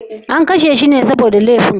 An kashe shi ne saboda laifin?